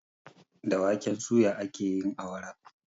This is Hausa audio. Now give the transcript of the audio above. Da waken suya ake yin awara